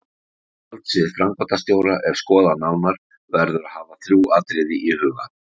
Þegar valdsvið framkvæmdastjóra er skoðað nánar verður að hafa þrjú atriði í huga